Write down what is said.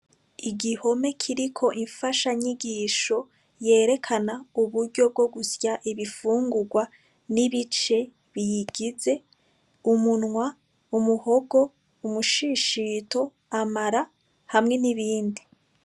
Igihome kiriko imfashanyigisho yerekana uburyo bwo gusya ibifungurwa n'ibice biyigize; umunwa, umuhogo, umushishito, amara hamwe n'ibindi.